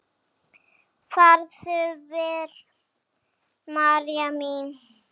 Farðu vel, María mín.